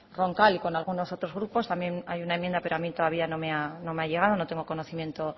roncal y con algunos otros grupos también hay una enmienda pero a mí todavía no me ha llegado no tengo conocimiento